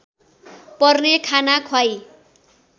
पर्ने खाना ख्वाई